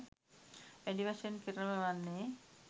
වැඩි වශයෙන් කෙළවර වන්නේ